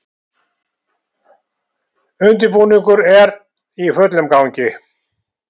Undirbúningur er í fullum gangi